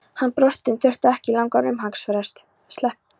Hann brosti en þurfti ekki langan umhugsunarfrest.